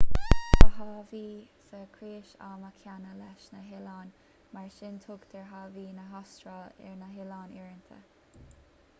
tá haváí sa chrios ama céanna leis na hoileáin mar sin tugtar haváí na hastráile ar na hoileáin uaireanta